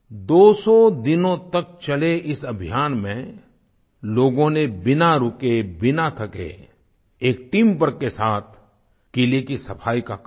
दोसौ दिनों तक चले इस अभियान में लोगों ने बिना रुके बिना थके एक टीमवर्क के साथ किले की सफाई का कार्य किया